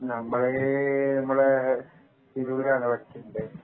നമ്മൾ ഇവിടെ ഇവിടെ തിരൂരാണ് പഠിച്ചിണ്ടായത്